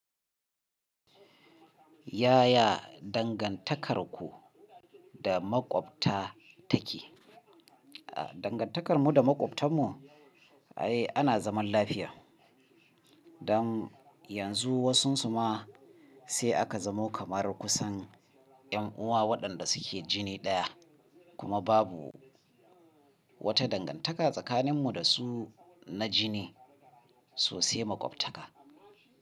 Yaya dangantakarku da maƙwabta take? Dangantakarmu da maƙwabtanmu, ai ana zaman lafiya. Don yanzu wasunsu ma sai aka zamo kamar kusan 'yan uwa waɗanda suke jini ɗaya kuma babu wata dangantaka tsakanin mu da su na jini sosai makwabtaka.